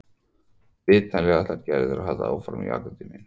Vitanlega ætlar Gerður að halda áfram í akademíunni.